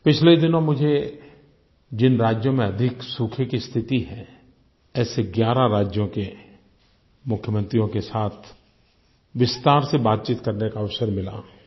पिछले दिनों मुझे जिन राज्यों में अधिक सूखे की स्थिति है ऐसे 11 राज्यों के मुख्यमंत्रियों के साथ विस्तार से बातचीत करने का अवसर मिला